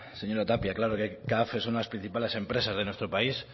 señora tapia claro que caf es una de las principales empresas de nuestro país